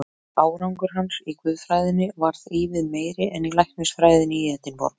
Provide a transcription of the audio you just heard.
Árangur hans í guðfræðinni varð ívið meiri en í læknisfræðinni í Edinborg.